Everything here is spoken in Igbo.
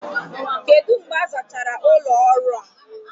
Kedu mgbe a zachara ụlọ ọrụ ahụ?